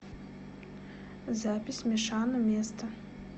запись мешано место